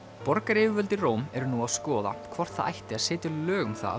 borgaryfirvöld í Róm eru nú að skoða hvort það ætti að setja lög um það að